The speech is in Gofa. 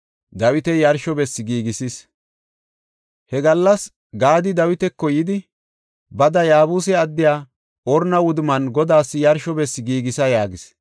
He gallas Gaadi Dawitako yidi, “Bada, Yaabuse addiya Orna wudumman Godaas yarsho bessi giigisa” yaagis.